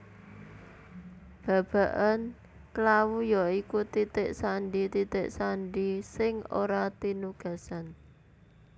Babagan klawu ya iku titik sandi titik sandi sing ora tinugasan